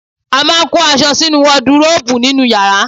A máa ń kó aṣọ sínú waduróbù nínú yàrá